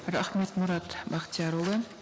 рахмет мұрат бақтиярұлы